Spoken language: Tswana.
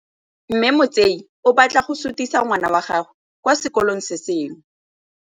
Mme Motsei o batla go sutisa ngwana wa gagwe kwa sekolong se sengwe.